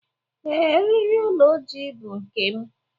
Ee, eriri olu ojii bụ nke m.